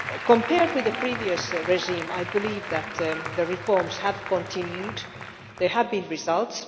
Compared with the previous regime, I believe that the reforms have continued and there have been results.